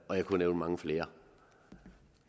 og jeg kunne nævne mange flere